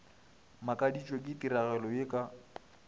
makaditšwe ke tiragalo ye ka